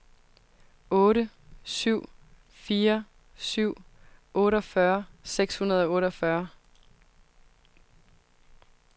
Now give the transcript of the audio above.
otte syv fire syv otteogfyrre seks hundrede og otteogfyrre